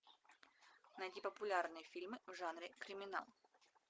найти популярные фильмы в жанре криминал